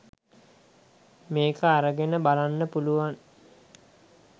මේක අරගෙන බලන්න පුළුවන්.